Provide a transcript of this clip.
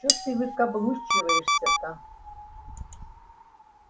чё ты выкаблучиваешься-то